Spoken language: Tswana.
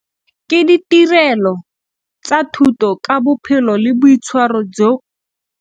Ke ditirelo tsa thuto ka bophelo le boitshwaro jo.